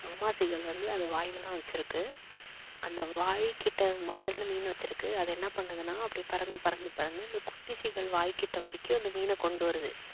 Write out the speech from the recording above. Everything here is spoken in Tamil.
அம்மா seegal வந்து அது வாயில தான் வெச்சிருக்கு அந்த வாய் கிட்ட வாயில தான மீன் வெச்சிருக்கு அது என்ன பண்ணுதுன்னா அப்படியே பறந்து பறந்து பறந்து அந்த குட்டி seegal வாய் கிட்ட வரைக்கும் அந்த மீன கொண்டு வருது